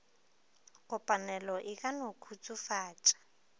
kopanelo e ka no khutsofatša